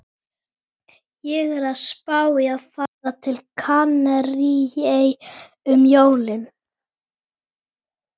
Sá sem stjórnar réttarfari hér samkvæmt sérstöku konungsbréfi heitir Lárus Bjarnason.